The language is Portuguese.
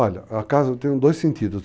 Olha, a casa tem dois sentidos.